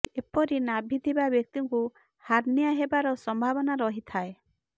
ଏ ପରି ନାଭି ଥିବା ବ୍ୟକ୍ତି କୁ ହାର୍ନିଆ ହେବାର ସମ୍ଭାବନା ରହି ଥାଏ